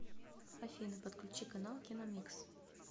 афина подключи канал киномикс